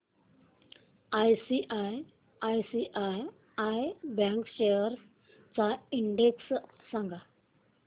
ICICI bank shares चा index सांगा